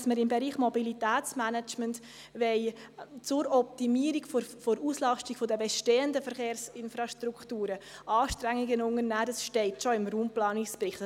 Dass wir im Bereich des Mobilitätsmanagements zur Optimierung der Auslastung der bestehenden Verkehrsinfrastrukturen Anstrengungen unternehmen wollen, steht bereits im Raumplanungsbericht.